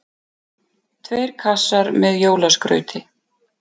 Tveir kassar með jólaskrauti.